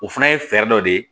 O fana ye fɛɛrɛ dɔ de ye